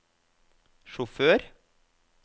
sjåfør